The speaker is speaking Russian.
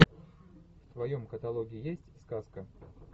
в твоем каталоге есть сказка